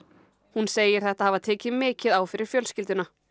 hún segir þetta hafa tekið mikið á fyrir fjölskylduna